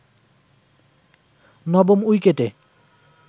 নবম উইকেটে